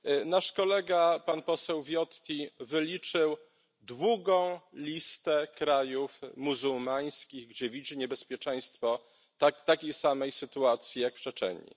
Nasz kolega pan poseł Viotti wyliczył długą listę krajów muzułmańskich, gdzie widzi niebezpieczeństwo takiej samej sytuacji jak w Czeczenii.